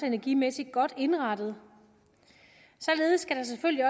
energimæssigt godt indrettet således skal der selvfølgelig